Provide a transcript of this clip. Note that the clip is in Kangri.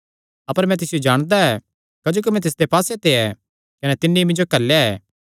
अपर मैं तिसियो जाणदा ऐ क्जोकि मैं तिसदे पास्से ते ऐ कने तिन्नी मिन्जो घल्लेया ऐ